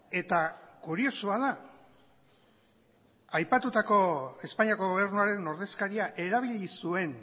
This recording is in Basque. eta kuriosoa da aipatutako espainiako gobernuaren ordezkaria erabili zuen